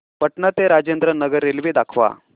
पटणा ते राजेंद्र नगर रेल्वे दाखवा